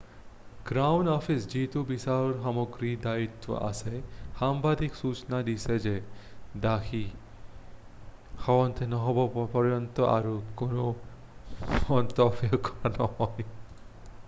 crown office যিটো বিচাৰৰ সামগ্ৰীৰ দায়িত্বত আছে সাংবাদিকক সুচনা দিছে যে দোষী সাব্যস্ত নোহোৱা পৰ্যন্ত আৰু কোনো মন্তব্য কৰা নহব